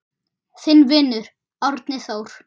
Þinn vinur, Árni Þór.